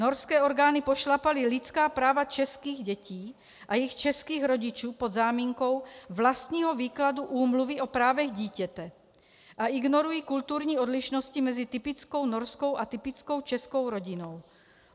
Norské orgány pošlapaly lidská práva českých dětí a jejich českých rodičů pod záminkou vlastního výkladu Úmluvy o právech dítěte a ignorují kulturní odlišnosti mezi typickou norskou a typickou českou rodinou.